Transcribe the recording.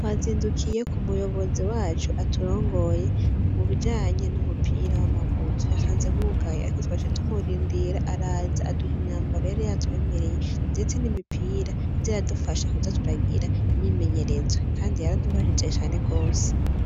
Twazindukiye k'umuyobozi wacu aturongoye mubijanye n'umupira w'amaguru. Twasanze hugaye ariko twaciye tumurindira araza aduha imyambaro yari yatwemereye ndetse n'imipira iza iradufasha kuza turagira imyimenyerezo. Kandi yaradufashije cane gose.